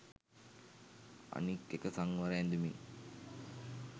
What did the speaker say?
අනික් එක සංවර ඇඳුමින්